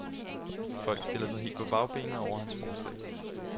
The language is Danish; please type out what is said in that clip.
Folk stiller sig helt på bagbenene over hans forslag.